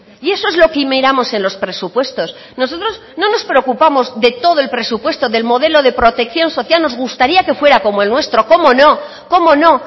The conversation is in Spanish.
y eso es lo que miramos en los presupuestos nosotros no nos preocupamos de todo el presupuesto del modelo de protección social nos gustaría que fuera como el nuestro cómo no